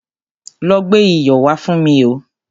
Lọ gbé iyọ̀ wá fún mi o.